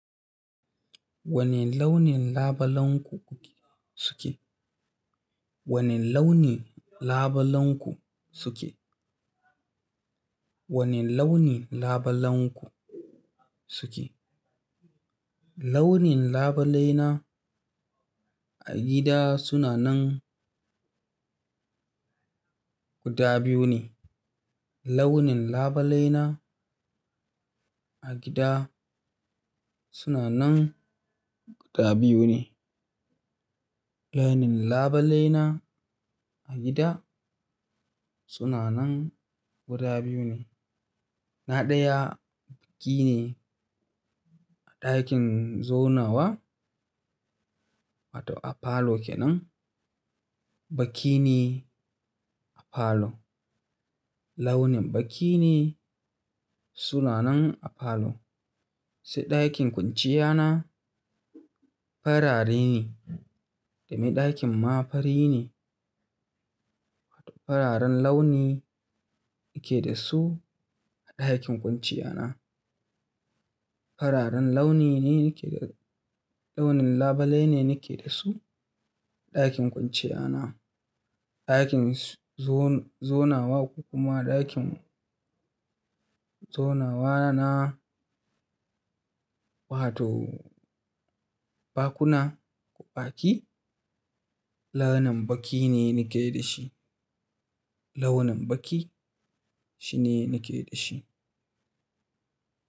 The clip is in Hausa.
Wane launin labalenku suke? Wane launi labalenku suke? Wane launin labalenku suke? Launin labalaina a gida suna nan guda biyu ne. Launin labalaina a gida suna nan guda biyu ne. Launin labalaina a gida suna nan guda biyu ne. Na ɗaya, baƙi ne a ɗakin zaunawa wato a falo kenan. Baki ne a falo. Launin baki ne suna nan a falo. Sai ɗakin kwanciyana, farare ne, domin ɗakin ma fari ne. Fararen launi nake da su a ɗakin kwanciyana. Fararen launi ne nake da-- launin labalai ne nake da su a ɗakin kwanciyana. Ɗakin zo-zaunawa ko kuma ɗakin zaunawa na wato baƙuna ko baƙi, launin baƙi ne nake da shi. Launin baƙi shi ne nake da shi.